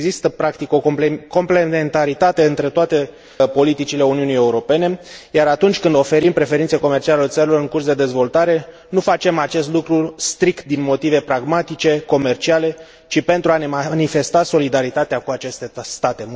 Există practic o complementaritate între toate politicile Uniunii Europene, iar atunci când oferim preferințe comerciale țărilor în curs de dezvoltare, nu facem acest lucru strict din motive pragmatice, comerciale, ci pentru a ne manifesta solidaritatea cu aceste state.